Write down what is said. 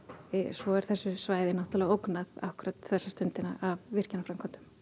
svo er þessu svæði náttúrulega ógnað akkúrat þessa stundina af virkjunarframkvæmdum